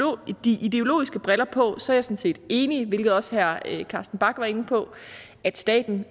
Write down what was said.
ideologiske briller på sådan set er enig i hvilket også herre carsten bach var inde på at staten